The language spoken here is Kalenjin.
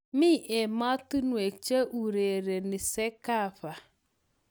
Mi ematinwek che urereni cecafa